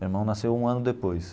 Meu irmão nasceu um ano depois.